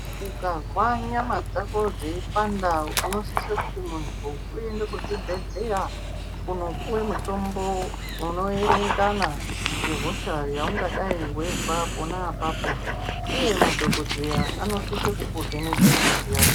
Ukazwa nyama dzako dzeipanda unosisa kuti muntu uende kuzvibhedhleya kunopuwe mutombo unoerengana nehosha yaunenge weizwa apapo uye madhokodheya anosise kukuvheneka ngazi yako.